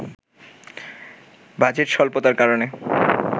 budget স্বল্পতার কারণে